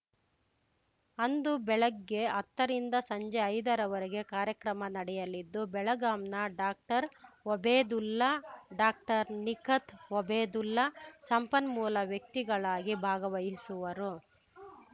ಅಂದು ಬೆಳಗ್ಗೆ ಹತ್ತರಿಂದ ಸಂಜೆ ಐದರವರೆಗೆ ಕಾರ್ಯಕ್ರಮ ನಡೆಯಲಿದ್ದು ಬೆಳಗಾಂನ ಡಾಕ್ಟರ್ಒಬೇದುಲ್ಲಾ ಡಾಕ್ಟರ್ನಿಖತ್‌ ಒಬೇದುಲ್ಲಾ ಸಂಪನ್ಮೂಲ ವ್ಯಕ್ತಿಗಳಾಗಿ ಭಾಗವಹಿಸುವರು